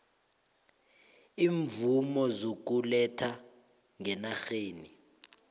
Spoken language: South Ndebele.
iimvumo zokuletha ngenarheni